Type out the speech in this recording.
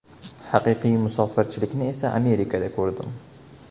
Haqiqiy musofirchilikni esa Amerikada ko‘rdim.